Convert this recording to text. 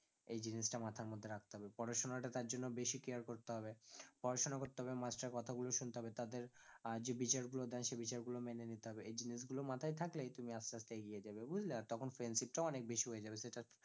এই জিনিসটা মাথার মধ্যে রাখতে হবে পড়াশোনাটা তার জন্য বেশি care করেত হবে পড়াশোনা করতে হবে master এর কথা গুলো শুনতে হবে তাদের আহ যে বিচার গুলো দেয় সে বিচার গুলো মেনে নিতে হবে, এই জিনিসগুলো মাথায় থাকলেই তুমি আস্তে আস্তে এগিয়ে যাবে বুঝলে? আর তখন friendship টাও অনেক বেশি হয়ে যাবে সেটা